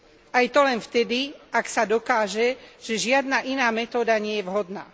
Aj to len vtedy, ak sa dokáže, že žiadna iná metóda nie je vhodná.